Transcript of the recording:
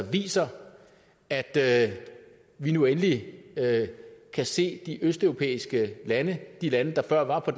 viser at at vi nu endelig kan se de østeuropæiske lande de lande der før var på